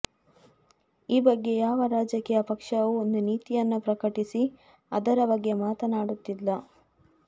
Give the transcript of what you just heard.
ಈ ಬಗ್ಗೆ ಯಾವ ರಾಜಕೀಯ ಪಕ್ಷವೂ ಒಂದು ನೀತಿಯನ್ನು ಪ್ರಕಟಿಸಿ ಅದರ ಬಗ್ಗೆ ಮಾತಾಡುತ್ತಿಲ್ಲ